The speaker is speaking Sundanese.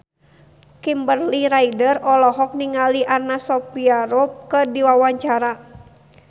Kimberly Ryder olohok ningali Anna Sophia Robb keur diwawancara